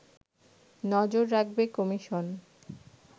নজর রাখবে কমিশন